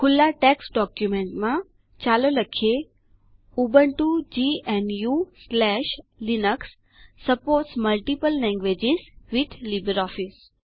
ખુલ્લા ટેક્સ્ટ ડોક્યુમેન્ટમાં ચાલો લખીએUbuntu gnuલિનક્સ supports multiple languages with LibreOffice